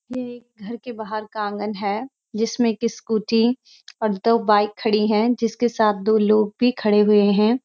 यह एक घर के बाहर का आंगन है जिसमें कि स्‍कूटी और दो बाईक खड़ी हैं जिसके साथ दो लोग भी खड़े हुए हैं।